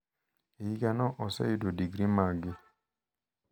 E higano oseyudo digri maggi.